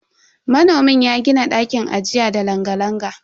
Manomin ya gini ɗakin ajiya da langa-langa.